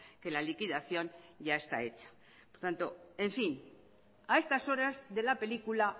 que la liquidación ya está hecha por tanto en fin a estas horas de la película